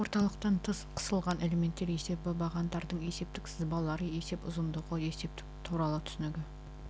орталықтан тыс қысылған элементтер есебі бағандардың есептік сызбалары есеп ұзындығы есептік туралы түсінігі